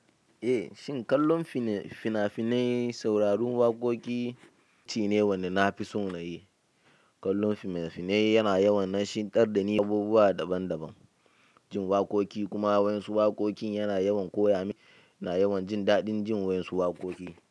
Shin kallon finafinan, sauraron waƙoƙi shine wanda nafison nayi. Kallon fina-finai yana yawan nashi darani abubuwa daban-daban, jin waƙoƙi kuma wayan su waƙoƙin yana yawan koya mini, yana yawan jin daɗin jin wani su waƙoƙi.